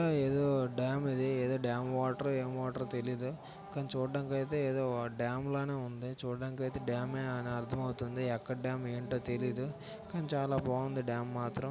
ఇది ఏదో డాం ఇది ఏదో డాం వాటరో ఏం వాటరో తెలియదు కానీ చూడ్డానికి అయితే ఏదో డాం లానే ఉంది చూడ్డానికి డామే అని అర్థమవుతుంది. ఎక్కడా ఏమీ ఏంటో తెలీదు కానీ చాలా బాగుంది డ్యాం మాత్రం.